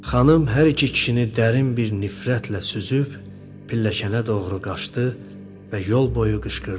Xanım hər iki kişini dərin bir nifrətlə süzüb pilləkənə doğru qaçdı və yol boyu qışqırdı.